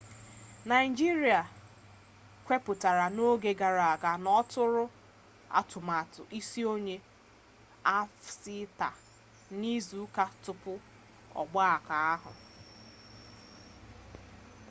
naịjiria kwuputara n'oge gara aga na ọtụrụ atụmatụ isonye afcfta n'izuka tupu ọgbakọ ahụ